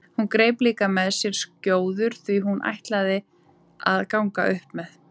Hún greip líka með sér skjóður því hún ætlaði að ganga upp með